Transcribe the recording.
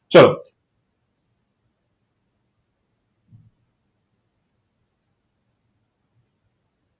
ચાલો